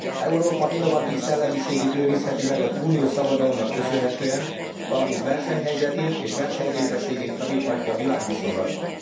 Európa innovatív szellemiségét őrizheti meg az uniós szabadalomnak köszönhetően, valamint versenyhelyzetét és versenyképességét javíthatja világviszonylatban.